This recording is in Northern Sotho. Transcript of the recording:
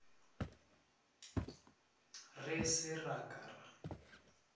re se ra ka ra